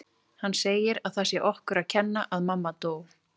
Hann segir að það sé okkur að kenna að mamma dó